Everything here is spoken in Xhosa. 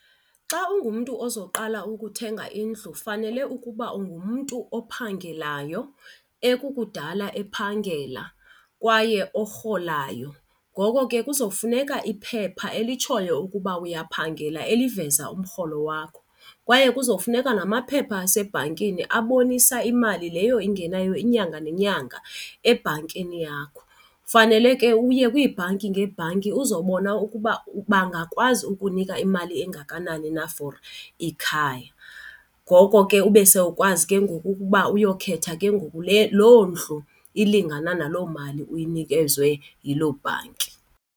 Xa ungumntu ozoqala ukuthenga indlu fanele ukuba ungumntu ophangelayo ekukudala ephangela kwaye orholayo. Ngoko ke kuzofuneka iphepha elitshoyo ukuba uyaphangela eliveza umrholo wakho. Kwaye kuzofuneka namaphepha asebhankini abonisa imali leyo ingenayo inyanga nenyanga ebhankini yakho. Fanele ke uye kwiibhanki ngeebhanki uzobona ukuba bangakwazi ukukunika imali engakanani na for ikhaya. Ngoko ke ube sewukwazi ke ngoku ukuba uyokhetha ke ngoku loo ndlu ilingana naloo mali uyinikezwe yiloo bhanki.